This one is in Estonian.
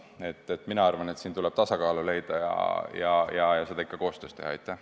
Nii et ma arvan, et siin tuleb tasakaal leida ja seda ikka koostöös teda.